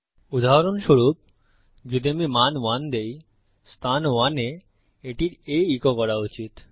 উদাহরণস্বরূপ যদি আমি মান 1 দেই অবস্থান 1 এ এটির A ইকো করা উচিত